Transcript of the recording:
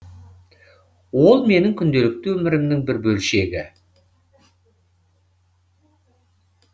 ол менің күнделікті өмірімнің бір бөлшегі